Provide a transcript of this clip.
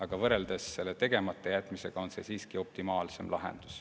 Aga võrreldes tegematajätmisega on see siiski optimaalsem lahendus.